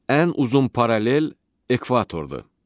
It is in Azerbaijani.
Ən uzun paralel ekvatordur.